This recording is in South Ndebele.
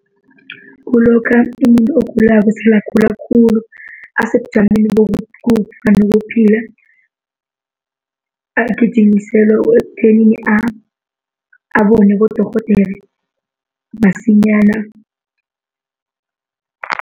Kulokha umuntu ogulako sele agula khulu, asebujameni bokufa nokuphila. Agijimiselwe ekuthenini abonwe bodorhodera masinyana.